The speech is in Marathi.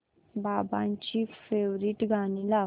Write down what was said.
बाबांची फेवरिट गाणी लाव